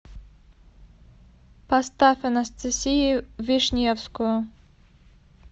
поставь анастасию вишневскую